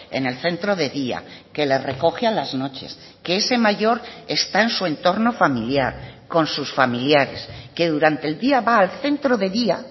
en el centro de día que le recoge a las noches que ese mayor está en su entorno familiar con sus familiares que durante el día va al centro de día